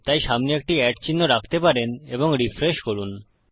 তাই সামনে একটি চিহ্ন রাখতে পারেন এবং রিফ্রেশ করুন